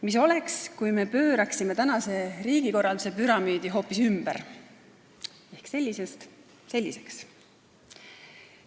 Mis oleks, kui me pööraksime tänase riigikorralduse püramiidi hoopis ümber ehk sellisest selliseks?